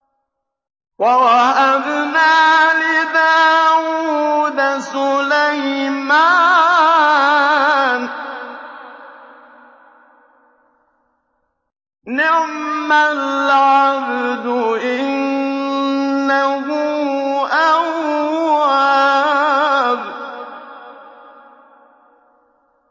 وَوَهَبْنَا لِدَاوُودَ سُلَيْمَانَ ۚ نِعْمَ الْعَبْدُ ۖ إِنَّهُ أَوَّابٌ